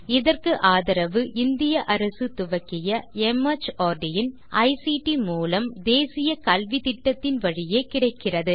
இதற்கு ஆதரவு இந்திய அரசு துவக்கிய மார்ட் இன் ஐசிடி மூலம் தேசிய கல்வித்திட்டத்தின் வழியே கிடைக்கிறது